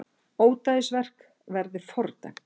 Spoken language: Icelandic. Ódæðisverk verði fordæmt